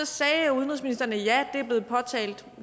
sagde udenrigsministeren at